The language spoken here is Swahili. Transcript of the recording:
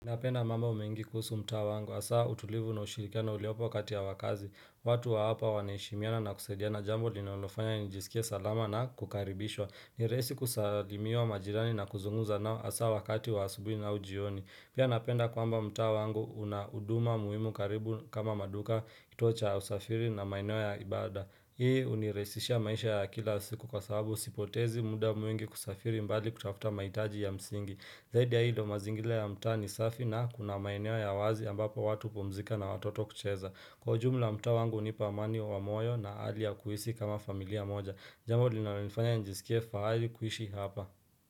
Napenda mambo mengi kuhusu mtaa wangu hasaa utulivu na ushirikiano uliopo kati ya wakaazi. Watu wa hapa wanaheshimiana na kusaidiana jambo linalofanya nijisikie salama na kukaribishwa. Ni rahisi kusalimia majirani na kuzungumza nao hasa wakati wa asubuhi na jioni. Pia napenda kwamba mtaa wangu una huduma muhimu karibu kama maduka, kituo cha ya usafiri na maeneo ya ibada. Hii hunirahisishia maisha ya kila siku kwa sababu sipotezi muda mwingi kusafiri mbali kutafuta mahitaji ya msingi. Zaidi ya hii mazingira ya mtaa ni safi na kuna maeneo ya wazi ambapo watu hupumzika na watoto kucheza. Kwa ujumla mtaa wangu hunipa amani wa moyo na hali ya kuhisi kama familia moja Jambo linalonifanya nijiskie fahari kuishi hapa.